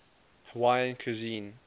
hawaiian cuisine